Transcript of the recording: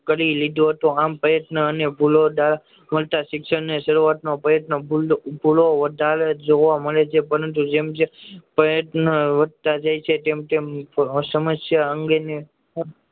કરી લીધો તો આમ પ્રયત્ન અને શિક્ષણ માં ભૂલો વધારે જોવા મળે છે પરંતુ જેમ જેમ પ્રયત્ન અને વધતા જાય છે તેમ તેમ સમસ્યા અંગે